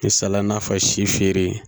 Misalaya n'a fɔ si feere